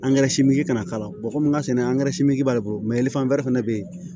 kana k'a la komi n ka sɛnɛ b'ale bolo fɛnɛ be yen